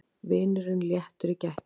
Vinurinn léttur í gættinni.